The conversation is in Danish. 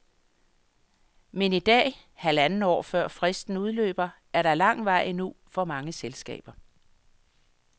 Men i dag, halvandet år før fristen udløber, er der lang vej endnu for mange selskaber.